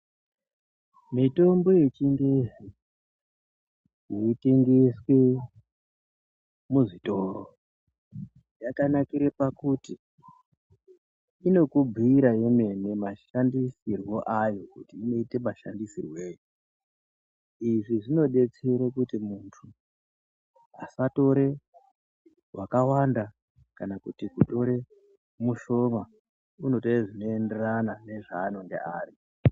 Mutombo yechingezi inotengeswe muzvitoro yakanakire pakuti inokubhuira yemene mashandisirwo ayo kuti inoite mashandisirwei. Izvi zvinodetsere kuti muntu asatore wakawanda kana kuti kutore mushoma. Unotore zvinoenderana nezvaanonga ari.